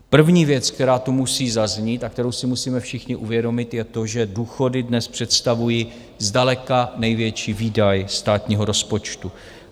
První věc, která tu musí zaznít a kterou si musíme všichni uvědomit, je to, že důchody dnes představují zdaleka největší výdaj státního rozpočtu.